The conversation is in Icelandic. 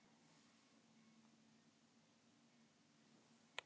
Að hans eigin sögn er Ari Freyr ansi duglegur Hefurðu skorað sjálfsmark?